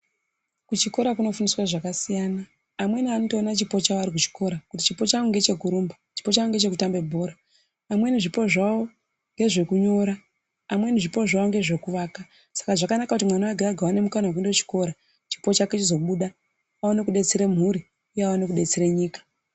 Kuchikora kuno fundiswa zvakasiyana amweni anotoona chipo chawo ari kuchikora kuti chipo changu ngeche kurumba chipo changu ngeche kutamba bhora amweni zvipo zvavo ngezvekunyora amweni zvipo zvavo ngezveku vaka saka zvakanaka kuti mwana wega wega aone mukana wekuenda kuchikora chipo chake chigobuda aone kubetsere mhuri uye aone kubetsera nyika.